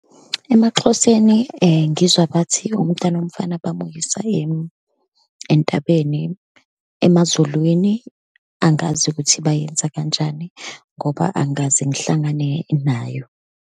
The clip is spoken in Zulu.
EmaXhoseni, ngizwa bathi umntwana womfana bamukisa entabeni. EmaZulwini angazi ukuthi bayenza kanjani, ngoba angikaze ngihlangane nayo.